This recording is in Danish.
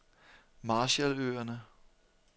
Marshalløerne